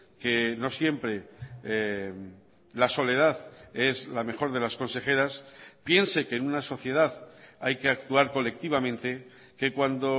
que no siempre la soledad es la mejor de las consejeras piense que en una sociedad hay que actuar colectivamente que cuando